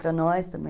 Para nós também.